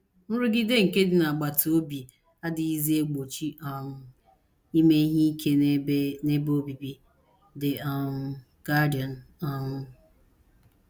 “ Nrụgide nke ndị agbata obi adịghịzi egbochi um ime ihe ike n’ebe n’ebe obibi. ” The um Guardian um.